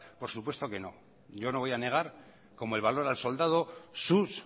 por supuesto que no yo no voy a negar como el valor al soldado sus